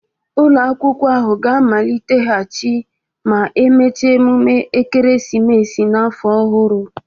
Ụlọ akwụkwọ ahụ ga-amaliteghachi ma emechaa emume ekeresimesi na afọ ọhụrụ